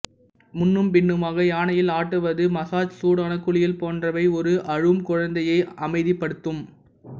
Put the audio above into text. முன்னும் பின்னுமாக யானையில் ஆட்டுவது மசாஜ் சூடான குளியல் போன்றவை ஒரு அழும் குழந்தையை அமைதிப்படுத்தும்